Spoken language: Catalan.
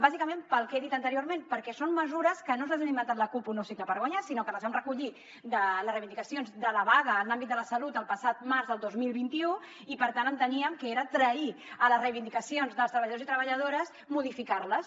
bàsicament pel que he dit anteriorment perquè són mesures que no se les ha inventat la cup un nou cicle per guanyar sinó que les vam recollir de les reivindicacions de la vaga en l’àmbit de la salut el passat març del dos mil vint u i per tant enteníem que era trair les reivindicacions dels treballadors i treballadores modificar les